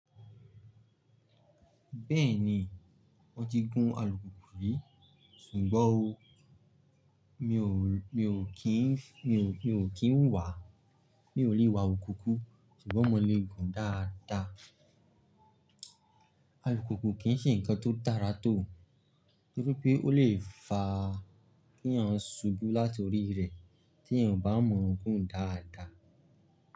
Bẹ́ẹ̀ni, mọ́ ti gún alùpùpù rí, ṣùgbọ́n o, mi ò kí ń wà, mi ò lè wa alùpùpù, ṣùgbọ́n mo lè gùn dáadáa. Alùpùpù kì ń ṣe nǹkan tó dára tò, nítorí pé ó lè fa kí à ń subú láti orí rẹ̀ tí èèyàn ò bá mọ̀ gùn dáadáa.